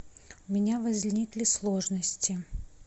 у меня возникли сложности